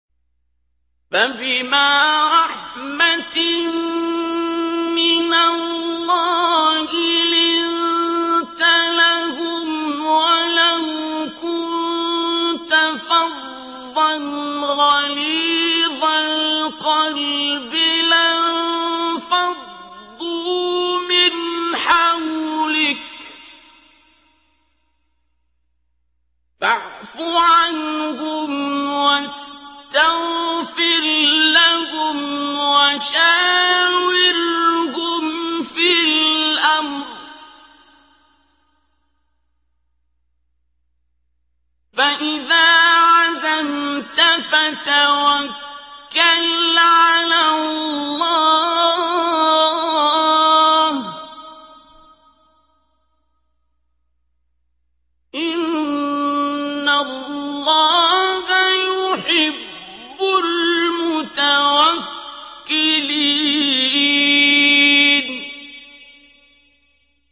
فَبِمَا رَحْمَةٍ مِّنَ اللَّهِ لِنتَ لَهُمْ ۖ وَلَوْ كُنتَ فَظًّا غَلِيظَ الْقَلْبِ لَانفَضُّوا مِنْ حَوْلِكَ ۖ فَاعْفُ عَنْهُمْ وَاسْتَغْفِرْ لَهُمْ وَشَاوِرْهُمْ فِي الْأَمْرِ ۖ فَإِذَا عَزَمْتَ فَتَوَكَّلْ عَلَى اللَّهِ ۚ إِنَّ اللَّهَ يُحِبُّ الْمُتَوَكِّلِينَ